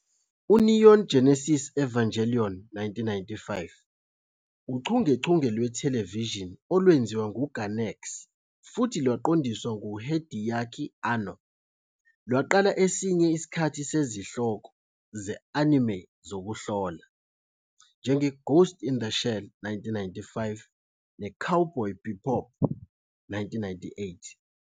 "UNeon Genesis Evangelion", 1995, uchungechunge lwethelevishini olwenziwa nguGainax futhi lwaqondiswa nguHideaki Anno, lwaqala esinye isikhathi sezihloko ze-anime zokuhlola, "njengeGhost in the Shell", 1995, "noCowboy Bebop", 1998.